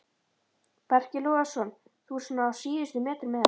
Breki Logason: Þú ert svona á síðustu metrunum með þetta?